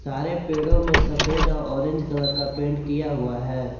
हरे पेड़ों में सफेद और ऑरेंज कलर का पेंट किया हुआ है।